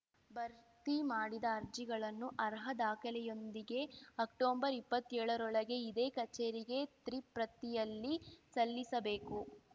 ಭರ್ತಿ ಮಾಡಿದ ಅರ್ಜಿಗಳನ್ನು ಅರ್ಹ ದಾಖಲೆಯೊಂದಿಗೆ ಅಕ್ಟೊಬರ್ ಇಪ್ಪತ್ಯೋಳ ರೊಳಗೆ ಇದೇ ಕಚೇರಿಗೆ ತ್ರಿಪ್ರತಿಯಲ್ಲಿ ಸಲ್ಲಿಸಬೇಕು